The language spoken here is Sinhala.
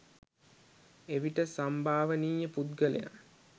එවිට සම්භාවනීය පුද්ගලයන්